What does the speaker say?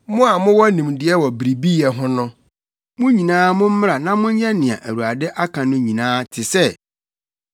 “Mo a mowɔ nimdeɛ wɔ biribiyɛ ho no, mo nyinaa mommra na monyɛ nea Awurade aka no nyinaa te sɛ: